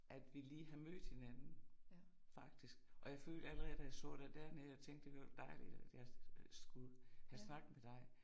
At vi lige har mødt hinanden faktisk og jeg følte allerede da jeg så dig dernede jeg tænkte det var da dejligt, at jeg skulle have snak med dig